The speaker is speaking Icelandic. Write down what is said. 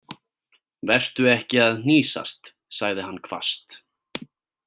Vertu ekki að hnýsast, sagði hann hvasst.